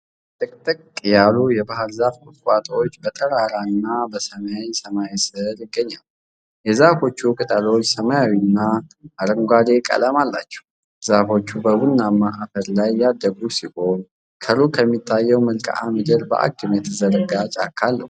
ጥቅጥቅ ያሉ የባሕር ዛፍ ቁጥቋጦዎች በጠራራና በሰማያዊ ሰማይ ስር ይገኛሉ። የዛፎቹ ቅጠሎች ሰማያዊና አረንጓዴ ቀለም አላቸው። ዛፎቹ በቡናማ አፈር ላይ ያደጉ ሲሆን፣ ከሩቅ የሚታየው መልክዓ ምድር በአግድም የተዘረጋ ጫካ አለው።